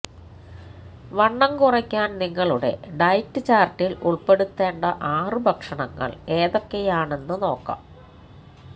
വണ്ണം കുറയ്ക്കാൻ നിങ്ങളുടെ ഡയറ്റ് ചാർട്ടിൽ ഉൾപ്പെടുത്തേണ്ട ആറ് ഭക്ഷണങ്ങൾ ഏതൊക്കെയാണെന്ന് നോക്കാം